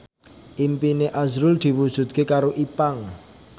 impine azrul diwujudke karo Ipank